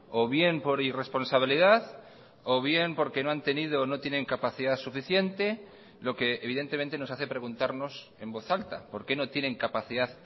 o bien por irresponsabilidad o bien porque no han tenido o no tienen capacidad suficiente lo que evidentemente nos hace preguntarnos en voz alta por qué no tienen capacidad